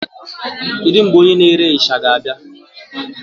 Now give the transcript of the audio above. Kedu mgbe onye na-ere isha ga-abịa?